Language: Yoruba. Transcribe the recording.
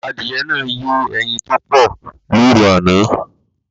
Adìyẹ náà yé ẹyin tó pọ̀ lóru àná